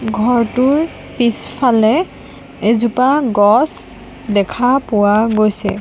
ঘৰটোৰ পিছফালে এজোপা গছ দেখা পোৱা গৈছে।